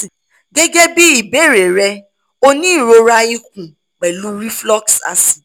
gẹgẹbi ibeere rẹ o ni irora ikun pẹlu reflux acid